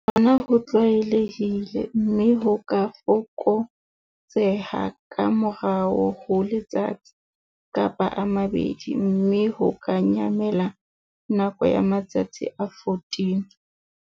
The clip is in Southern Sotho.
Hona ho tlwaelehile, mme ho ka fokotseha ka morao ho letsatsi, kapa a mabedi, mme ho ka nyamela nakong ya matsatsi a 14.